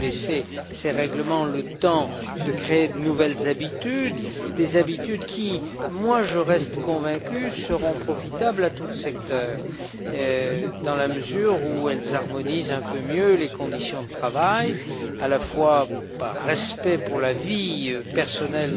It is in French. Il faut laisser à ces règlements le temps de créer de nouvelles habitudes, des habitudes qui, j'en reste convaincu, seront profitables à tout le secteur, dans la mesure où elles harmonisent un peu mieux les conditions de travail, à la fois par respect pour la vie personnelle